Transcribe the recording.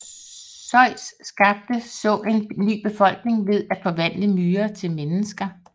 Zeus skabte så en ny befolkning ved at forvandle myrer til mennesker